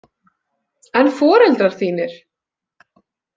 En foreldrar þínir?